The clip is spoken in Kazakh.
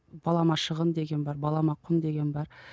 балама шығын деген бар балама құн деген бар